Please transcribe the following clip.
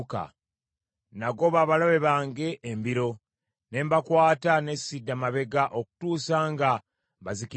Nagoba abalabe bange embiro, ne mbakwata ne sidda mabega okutuusa nga mbazikirizza.